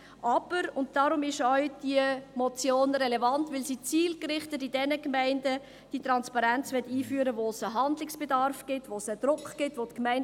Aber diese Motion ist relevant, weil sie zielgerichtet in jenen Gemeinden die Transparenz einführen will, wo es einen Handlungsbedarf und einen Druck gibt.